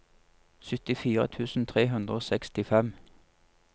syttifire tusen tre hundre og sekstifem